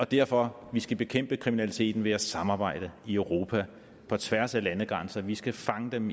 derfor vi skal bekæmpe kriminaliteten ved at samarbejde i europa på tværs af landegrænser vi skal fange dem